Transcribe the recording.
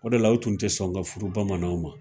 O de la u tun tɛ sɔn ka furu bamananw ma